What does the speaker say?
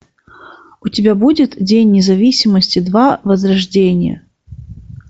у тебя будет день независимости два возрождение